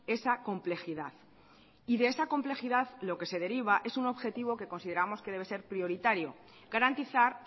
esa complejidad y de esa complejidad lo que se deriva es un objetivo que consideramos que debe ser prioritario garantizar